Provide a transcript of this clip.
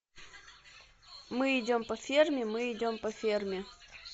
мы идем по ферме мы идем по ферме